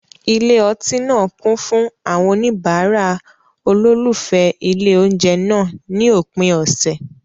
Ilé ọtí náà kún fún àwọn oníbàárà olólùfẹ́ ilé oúnjẹ náà ní òpin ọ̀sẹ̀.